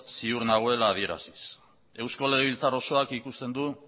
ziur nagoela adieraziz eusko legebiltzar osoak ikusten du